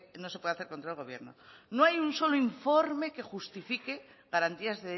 no se puede hacer contra el gobierno no hay un solo informe que justifique garantías